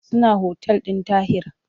Suna otal ɗin Tahir.